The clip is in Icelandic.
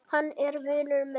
Hann er vinur minn